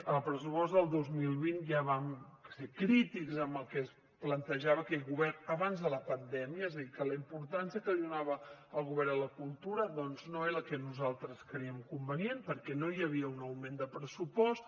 al pressupost del dos mil vint ja vam ser crítics amb el que plantejava aquest govern abans de la pandèmia és a dir que la importància que li donava el govern a la cultura no és era la que nosaltres crèiem convenient perquè no hi havia un augment de pressupost